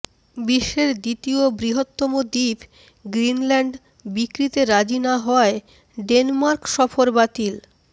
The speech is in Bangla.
বিশ্বের দ্বিতীয় বৃহত্তম দ্বীপ গ্রিনল্যান্ড বিক্রিতে রাজি না হওয়ায় ডেনমার্ক সফর বাতিল